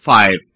फ5